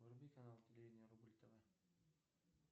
вруби канал телевидение рубль тв